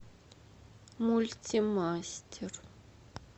мульти мастер